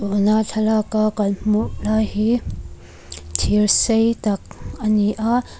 tuna thlalaka kan hmuh lai hi thir sei tak a ni a.